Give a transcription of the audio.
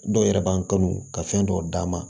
Dɔw yɛrɛ b'an kanu ka fɛn dɔw d'a ma